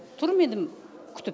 тұрмын енді күтіп